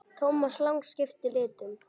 Thomas Lang skipti litum.